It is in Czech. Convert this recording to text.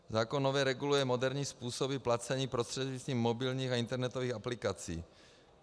Zákon nově reguluje moderní způsoby placení prostřednictvím mobilních a internetových aplikací.